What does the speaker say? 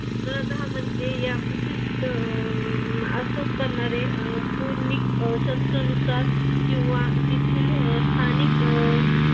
जगामध्ये या प्रसिद्ध त पूर्णिक शास्त्रानुसार किंवा तेथील स्थानिक अह